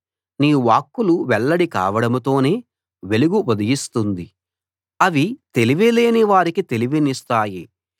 నీ వాక్కులు వెల్లడి కావడంతోనే వెలుగు ఉదయిస్తుంది అవి తెలివిలేని వారికి తెలివినిస్తాయి